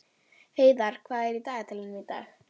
Heiðarr, hvað er á dagatalinu í dag?